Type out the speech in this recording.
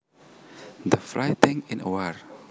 the fighting in a war